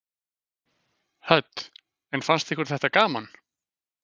Hödd: En fannst ykkur þetta gaman?